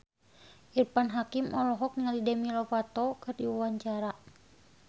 Irfan Hakim olohok ningali Demi Lovato keur diwawancara